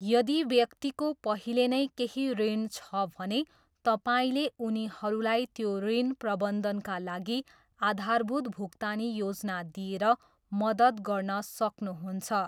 यदि व्यक्तिको पहिले नै केही ऋण छ भने तपाईँले उनीहरूलाई त्यो ऋण प्रबन्धनका लागि आधारभूत भुक्तानी योजना दिएर मद्दत गर्न सक्नुहुन्छ।